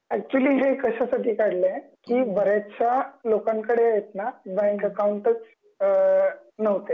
actually हे कशा साठी काढल आहे कि बऱ्याचश्या लोकांकडे आहेत ना बँक अकाउंटच अ नव्हते भारतामध्ये